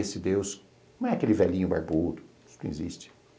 Esse Deus não é aquele velhinho barbudo que existe.